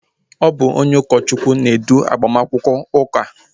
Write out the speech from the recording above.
Ọ bụ ụkọchukwu na-edu agbamakwụkwọ ụka